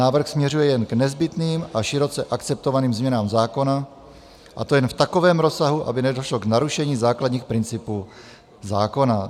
Návrh směřuje jen k nezbytným a široce akceptovaným změnám zákona, a to jen v takovém rozsahu, aby nedošlo k narušení základních principů zákona.